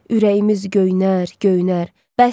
Ürəyimiz göynər, göynər.